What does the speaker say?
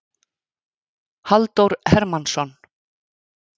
Halldór Hermannsson.